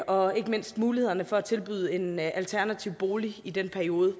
og ikke mindst mulighederne for tilbyde en alternativ bolig i den periode